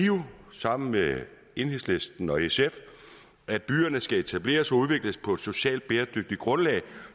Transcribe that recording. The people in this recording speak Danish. sammen med enhedslisten og sf at byerne skal etableres og udvikles på et socialt bæredygtigt grundlag